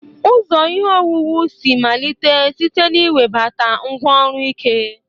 Ụzọ ihe owuwu si malite site na iwebata ngwá ọrụ ike.